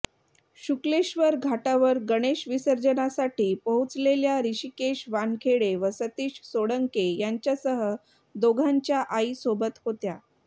शुक्लेश्वर घाटावर गणेश विसर्जनासाठी पोहोचलेल्या ऋषीकेश वानखडे व सतीश सोळंके यांच्यासह दोघांच्या आई सोबत होत्या